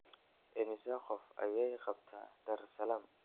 Immisa qof ayay qabtaa daar salaam?